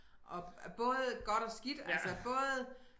Og og både godt og skidt altså både